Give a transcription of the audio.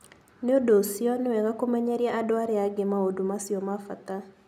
Nĩ ũndũ ũcio, nĩ wega kũmenyeria andũ arĩa angĩ maũndũ macio ma bata.